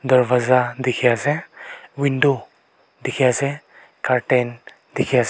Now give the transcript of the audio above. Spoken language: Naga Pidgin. dorwaja dikhi ase window dikhi ase curtain dikhi ase.